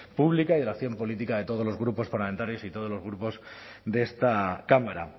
pública y de la acción política de todos los grupos parlamentarios y todos los grupos de esta cámara